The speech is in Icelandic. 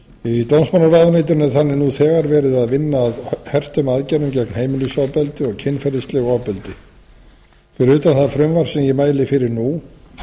í dómsmálaráðuneytinu er þannig nú þegar verið að vinna að hertum aðgerðum gegn heimilisofbeldi og kynferðislegu ofbeldi fyrir utan það frumvarp sem ég mæli fyrir nú